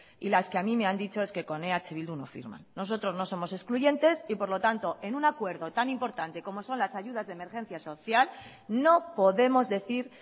y las que a mí me han dicho es que con eh bildu no firman nosotros no somos excluyentes y por lo tanto en un acuerdo tan importante como son las ayudas de emergencia social no podemos decir